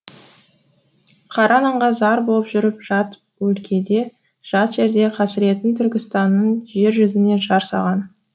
қара нанға зар боп жүріп жат өлкеде жат жерде қасіретін түркістанның жер жүзіне жар саған